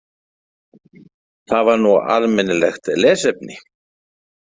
Það var nú almennilegt lesefni.